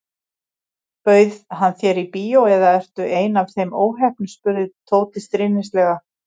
Bauð hann þér í bíó eða ertu ein af þeim óheppnu spurði Tóti stríðnislega.